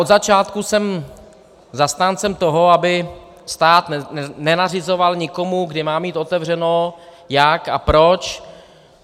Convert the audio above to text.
Od začátku jsem zastáncem toho, aby stát nenařizoval nikomu, kdy má mít otevřeno, jak a proč.